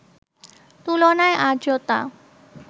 তুলনায় আর্দ্রতা